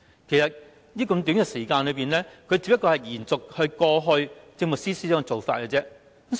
其實，時間這麼短，他只會延續過往政務司司長的做法。